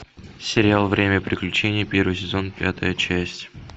сериал время приключений первый сезон пятая часть